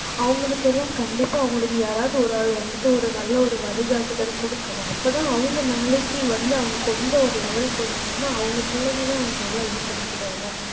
அவங்களுக்கெல்லாம் கண்டிப்பா அவங்களுக்கு யாராவது ஒரு ஆள் வந்துட்டு ஒரு நல்ல ஒரு வழிகாட்டுதல் குடுக்கணும். அப்பதான் அவங்க நாளைக்கு வந்து அவங்க கொஞ்சம் ஒரு level க்கு வந்துட்டாங்கன்னா அவங்க பிள்ளைங்கள அவங்க நல்லா இது பண்ணிக்கிடுவாங்க